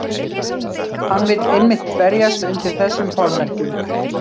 Hann vill einmitt berjast undir þessum formerkjum.